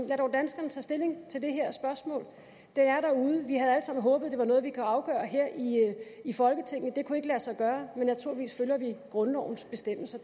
lad dog danskerne tage stilling til det her spørgsmål det er derude vi havde alle sammen håbet at det var noget vi kunne afgøre her i i folketinget det kunne ikke lade sig gøre men naturligvis følger vi grundlovens bestemmelser